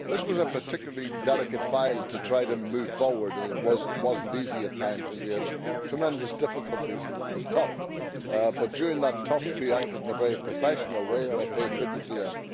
This was a particularly delicate file to try to move forward and it was not easy at times. We had tremendous difficulties and it was tough, but during that tough time we acted in a very professional way and I pay tribute to them.